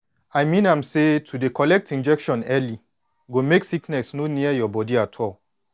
i mean am say to dey collect injection early go make sickness no near your body at all